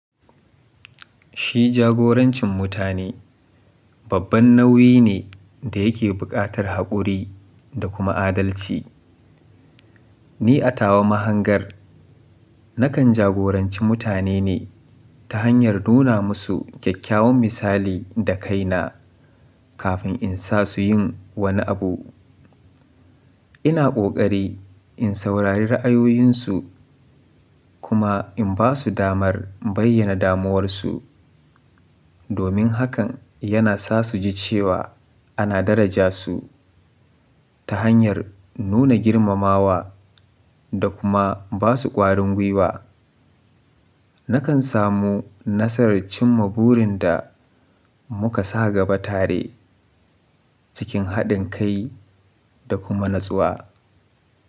Shi jagorancin mutane, babban nauyi ne da yake buƙatar haƙuri da kuma adalci. Ni, a tawa mahangar, nakan jagoranci mutane ne ta hanyar nuna musu kyakkyawan misali da kaina kafin in sa su yin wani abu. Ina ƙoƙari in saurari ra'ayoyinsu kuma in ba su damar bayyana damuwarsu. Domin hakan yana sa su ji cewa ana daraja su ta hanyar nuna girmamawa da kuma ba su ƙwarin gwiwa. Nakan samu nasarar cimma burin da muka sa gaba tare cikin haɗin kai da kuma natsuwa.